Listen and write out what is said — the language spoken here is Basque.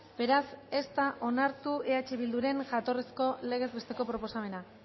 beraz ez da onartu eh bilduren jatorrizko legez besteko proposamena